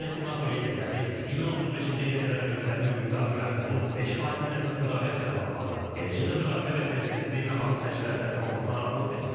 Qeyd edək ki, NATO liderləri 2035-ci ilə qədər ölkələrinin ümumdaxili məhsulunun 5 faizinin əsas müdafiə tələbatına, eləcə də müdafiə və təhlükəsizliklə bağlı xərclərə sərf olunmasına razılıq veriblər.